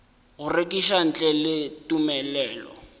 go rekiša ntle le tumelelo